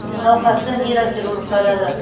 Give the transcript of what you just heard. науқасты нейрохирург қарады